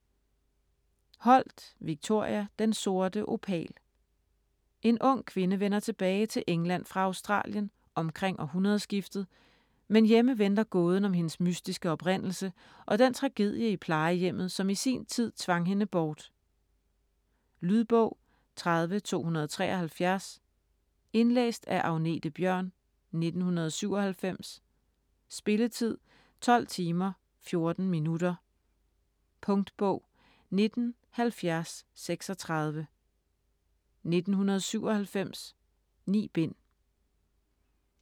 Holt, Victoria: Den sorte opal En ung kvinde vender tilbage til England fra Australien omkring århundredskiftet, men hjemme venter gåden om hendes mystiske oprindelse og den tragedie i plejehjemmet, som i sin tid tvang hende bort. Lydbog 30273 Indlæst af Agnethe Bjørn, 1997. Spilletid: 12 timer, 14 minutter. Punktbog 197036 1997. 9 bind.